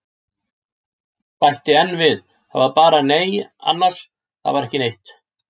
Bæti enn við, það var bara- nei annars, það var ekki neitt.